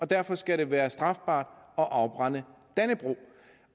derfor skal det være strafbart at afbrænde dannebrog